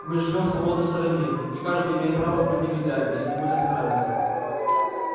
мы живём в свободной стране и каждый имеет право быть негодяем если ему так нравится